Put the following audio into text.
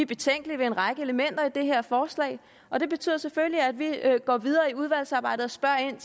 betænkelige ved en række elementer i det her forslag og det betyder selvfølgelig at vi går videre i udvalgsarbejdet og spørger ind